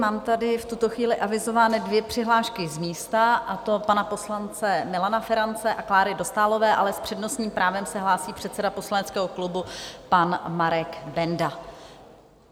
Mám tady v tuto chvíli avizovány dvě přihlášky z místa, a to pana poslance Milana Ferance a Kláry Dostálové, ale s přednostním právem se hlásí předseda poslaneckého klubu pan Marek Benda.